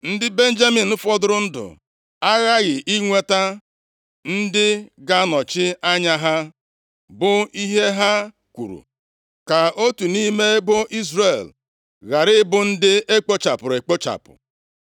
Ndị Benjamin fọdụrụ ndụ aghaghị inweta ndị ga-anọchi anya ha,” bụ ihe ha kwuru, “ka otu nʼime ebo Izrel ghara ịbụ ndị e kpochapụrụ ekpochapụ.